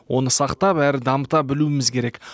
оны сақтап әрі дамыта білуіміз керек